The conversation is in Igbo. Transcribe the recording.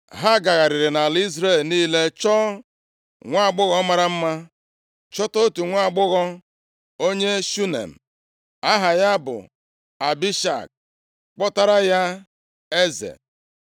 Ha gagharịrị nʼala Izrel niile chọọ nwaagbọghọ mara mma, chọta otu nwaagbọghọ onye Shunem, aha ya bụ Abishag, kpọtaara ya eze.